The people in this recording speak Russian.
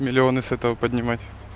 миллионы с этого поднимать